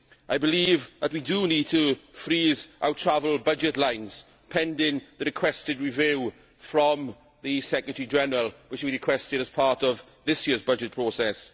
I believe that we need to freeze our travel budget lines, pending the requested review from the Secretary General which we requested as part of this year's budget process.